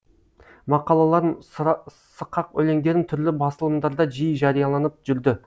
мақалаларым сықақ өлеңдерім түрлі басылымдарда жиі жарияланып жүрді